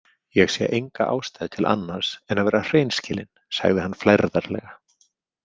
Ég sé enga ástæðu til annars en að vera hreinskilinn, sagði hann flærðarlega.